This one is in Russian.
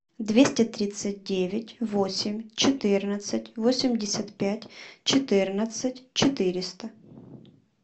двести тридцать девять восемь четырнадцать восемьдесят пять четырнадцать четыреста